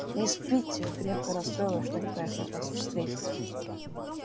мисс питти крепко расстроилась что не поехала вас встретить